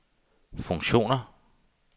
funktioner